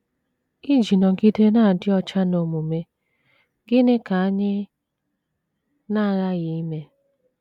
Iji nọgide na - adị ọcha n’omume, gịnị ka anyị na - aghaghị ime?